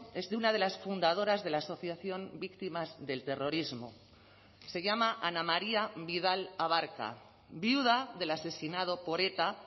es de una de las fundadoras de la asociación víctimas del terrorismo se llama ana maría vidal abarca viuda del asesinado por eta